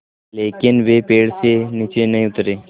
लेकिन वे पेड़ से नीचे नहीं उतरे